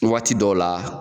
Waati dɔw la